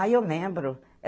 Ah, eu lembro.